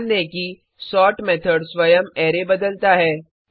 ध्यान दें कि सोर्ट मेथड स्वयं अरै बदलता है